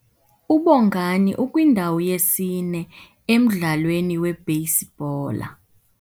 UBongani ukwindawo yesine emdlalweni webheyisibhola.